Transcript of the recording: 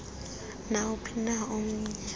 nawuphi na omnye